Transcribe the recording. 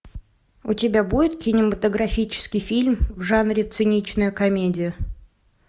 у тебя будет кинематографический фильм в жанре циничная комедия